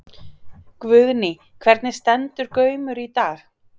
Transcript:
Guðný: Hvernig stendur Gaumur í dag?